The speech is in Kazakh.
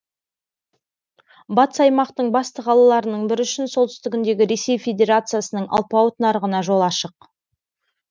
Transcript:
батыс аймақтың басты қалаларының бірі үшін солтүстігіндегі ресей федерациясының алпауыт нарығына жол ашық